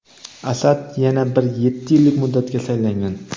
Asad yana bir yetti yillik muddatga saylangan.